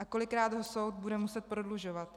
A kolikrát ho soud bude muset prodlužovat?